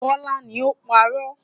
Bọ́lá ni ó ń parọ́.